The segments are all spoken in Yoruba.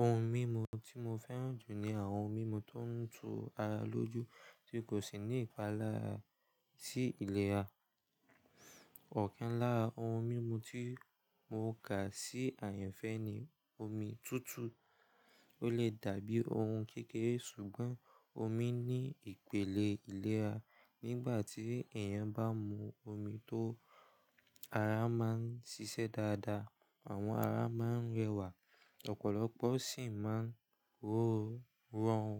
Ohun mímu tí mo fẹ́ràn jù ni àwọn ohun mímu tó ń tu ara lójú tí kò sì ní ìpalára sí ìlera. Ọ̀kan lára ohun mímu tí mo kà sí àyànfẹ́ ni omi tútù. Ó lè dàbí ohun kékeré ṣùgbọ́n omi ní ìpele ìlera. Nígbà tí èèyàn bá mu omi tó, ara má ń ṣiṣẹ́ dáadáa, àwọn ara má ń rẹwà, ọ̀pọ̀lọpọ̀ sì má ń rọrùn rọrùn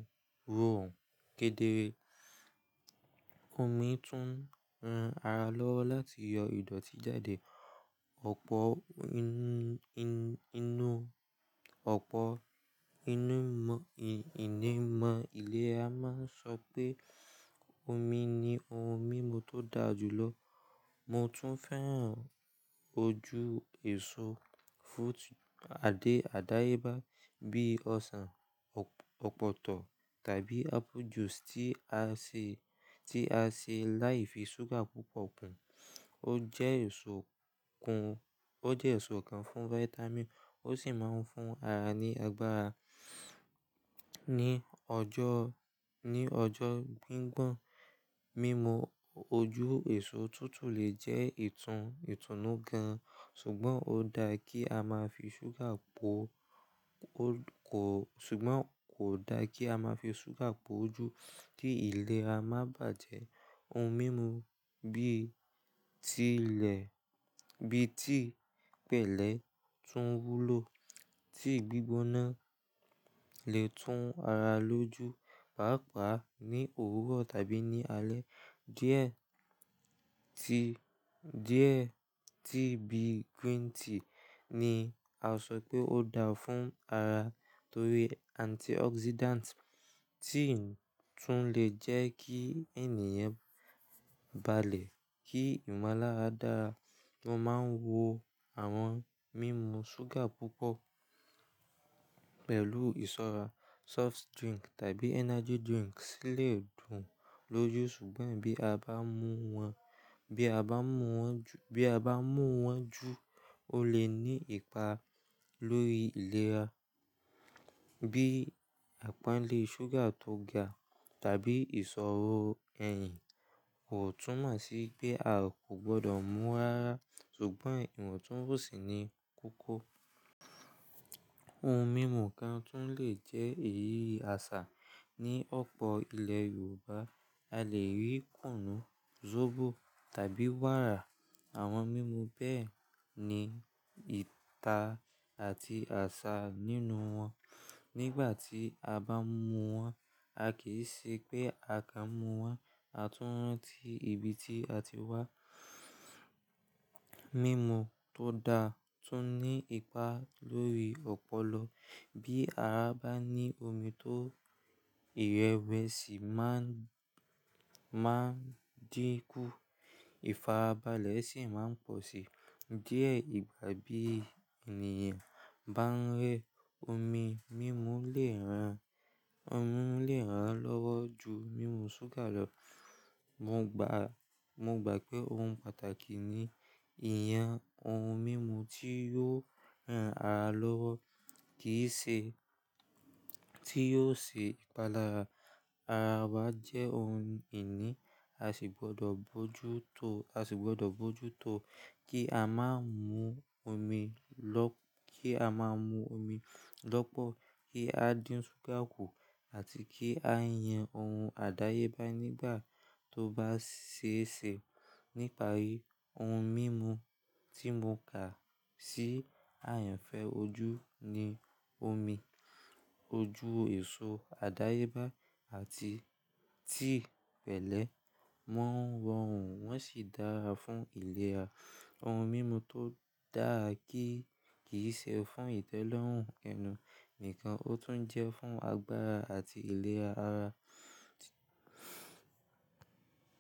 rọrùn kedere. Omi tún ran ara lọ́wọ́ láti yọ ìdọ̀tí jáde. Ọ̀pọ̀ òpò onìmọ̀ iléra má ń sọ pé omi ni ohun mímu tó da jù lọ. Mo tún fẹ́ràn ojú èso àdáyébá bíi ọsàn, ọ̀pọ̀tọ́ tàbí apple juice tí a ṣe láìfi súgà púpọ̀ kún. Ó jẹ́ èso kan fún vitamin ó sì má ń fún ara ní agbára. Ní ọjọ́ gbígbọ́n, mímu ojú èso tútù lè jẹ́ ìtúnú gan-an ṣùgbọ́n kò da kí a má fi ṣúgà poo jú kí ìlera má bàjẹ́. Ohun mímu bíi tíì pẹ̀lẹ́ tún wúlò tíì gbígbóná lè tún ara lóju pàápàá ní òwúrọ̀ tàbí ní alẹ́. Díẹ̀ tíì bí green tea ni a sọ pé ó da fún ara torí antioxidant tí ń tún lè jẹ́ kí ènìyàn balẹ̀ kí ìmọ̀lára dára. Mo má ń wo àwọn mímu ṣúgà púpọ̀ pẹ̀lú ìsọ́ra, soft drink tàbí energy drink sílẹ̀ dùn lójú ṣùgbọ́n bí a bá mu wọn jù, ó lè ní ipa lórí ìlera bíi àpánle ṣúgà tó ga tàbí ìṣòro ẹ̀yìn. Kò túmọ̀ sí pé a kò gbọdọ̀ mú rara ṣùgbọ́n ìwọ̀ntúnwonsí ní kókó. Ohun mímu kan tún lè jẹ́ èyí àṣà. Ní ọ̀pọ̀ ilẹ̀ Yorùbá a lè rí kùnú, zobo tàbí wàrà. Àwọn mímu bẹ́ẹ̀ ni ìta àti àṣà nínú wọn. Nígbà tí a bá mu wọn a kì í ṣe pé a kàn mu won, a tún rántí ibi tí a ti wá. Mímu tó da tún ní ipa lórí ọpọlọ. Bí ara bá ní omi tó, ìrẹwẹsi má ń dínkú, ìfarabalẹ̀ sì má ń pọ̀ sí. Díẹ̀ ìgbà bí ènìyàn bá ń rẹ́, omi mímu lè ran lọ́wọ́ ju mímu ṣúgà lọ. Mo gbà pé ohun pàtàkì ni ìyàn ohun mímu tí yóò ran ara lọ́wọ́ kì í ṣe tí yóò ṣe ìpalára. Ara wa jẹ́ ohun ìní, a sì gbọdọ̀ bojútó kí a má ń mu omi lọ́pọ̀, kí á dín ṣúgà kù àti kí á yàn ohun àdáyébá nígbà tó bá ṣeéṣe. Nípa ohun mímu tí mo kà sí àyànfẹ́ ojú ni omi, ojú èso àdáyébá àti tí pẹ̀lẹ́. Wọ́n rọrùn wọ́n sì dára fún ìlera. Ohun mímu tó dáa kì í ṣe fún ìtẹ́lọ́rùn ẹnu nìkan ó tún jẹ́ fún agbára àti ìlera ara tí.